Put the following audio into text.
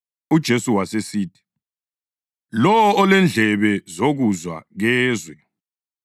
UJesu wasesithi, “Lowo olendlebe zokuzwa kezwe.”